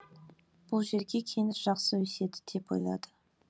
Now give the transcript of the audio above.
бұл жерге кендір жақсы өседі деп ойлады